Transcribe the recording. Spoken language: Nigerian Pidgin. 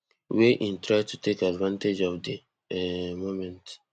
wey im try to take advantage of di um moment